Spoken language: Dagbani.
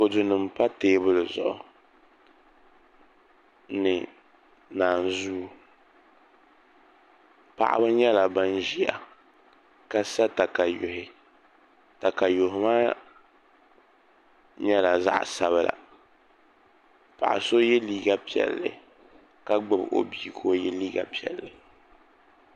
Kodu nim npa teebuli zuɣu ni naanzuu paɣaba nyɛla ban ʒiya ka sa katayuhi katayuhi maa nyɛla zaɣ sabila paɣa so yɛ liiga piɛlli ka gbubi o bia ka o yɛ liiga piɛlli